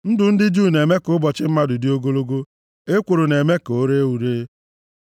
Ndụ dị jụụ na-eme ka ụbọchị mmadụ dị ogologo; ekworo na-eme ka o ree ure.